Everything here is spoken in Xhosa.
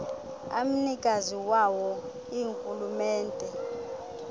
amnikazi wawo ingurhulumente